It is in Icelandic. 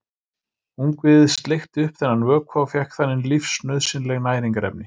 Ungviðið sleikti upp þennan vökva og fékk þannig lífsnauðsynleg næringarefni.